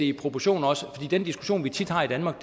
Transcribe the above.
i proportioner den diskussion vi tit har i danmark